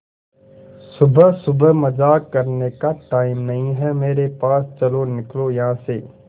सुबह सुबह मजाक करने का टाइम नहीं है मेरे पास चलो निकलो यहां से